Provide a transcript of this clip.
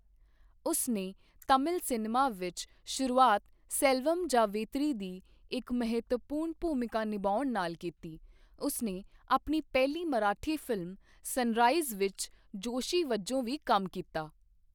ਉਸਨੇ ਤਾਮਿਲ ਸਿਨੇਮਾ ਵਿੱਚ ਸ਼ੁਰੂਆਤ ਸੇਲਵਮ ਜਾਂ ਵੇਤਰੀ ਦੀ ਇੱਕ ਮਹੱਤਵਪੂਰਣ ਭੂਮਿਕਾ ਨਿਭਾਉਣ ਨਾਲ ਕੀਤੀ, ਉਸਨੇ ਆਪਣੀ ਪਹਿਲੀ ਮਰਾਠੀ ਫਿਲਮ ਸਨਰਾਈਜ਼ ਵਿੱਚ ਜੋਸ਼ੀ ਵਜੋਂ ਵੀ ਕੰਮ ਕੀਤਾ।